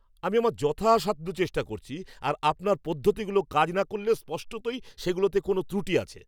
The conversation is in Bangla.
আমি আমার যথাসাধ্য চেষ্টা করছি, আর আপনার পদ্ধতিগুলো কাজ না করলে স্পষ্টতই সেগুলোতে কোনও ত্রুটি আছে।